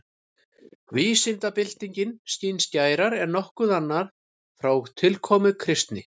Vísindabyltingin skín skærar en nokkuð annað frá tilkomu kristni.